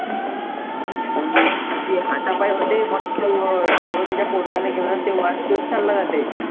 हम्म ते हातापायी होते मग तो अं hero त्याच्या पोरग्याला घेऊन आणि ते watch घेऊन चालला जाते.